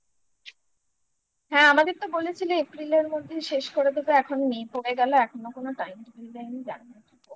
হ্যাঁ আমাদের তো বলেছিলে April র মধ্যে শেষ করে দেবো এখন May পড়ে গেলো এখনো কোনো time দেয়নি জানিনা